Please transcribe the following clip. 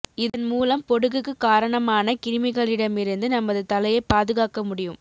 இதன் மூலம் பொடுகுக்கு காரணமான கிருமிகளிடமிருந்து நமது தலையை பாதுகாக்க முடியும்